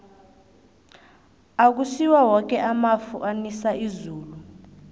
akusiwo woke amafu anisa izulu